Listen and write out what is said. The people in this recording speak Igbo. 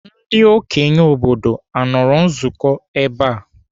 Ndị okenye obodo anọrọ nzukọ ebe a?